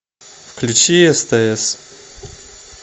включи стс